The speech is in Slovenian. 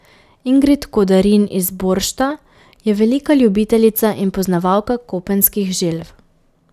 Ingrid Kodarin iz Boršta je velika ljubiteljica in poznavalka kopenskih želv.